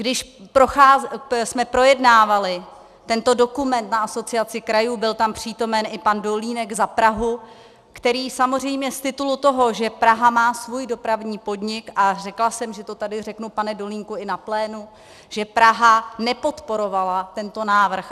Když jsme projednávali tento dokument na Asociaci krajů, byl tam přítomen i pan Dolínek za Prahu, který samozřejmě z titulu toho, že Praha má svůj dopravní podnik - a řekla jsem, že to tady řeknu, pane Dolínku, i na plénu - že Praha nepodporovala tento návrh.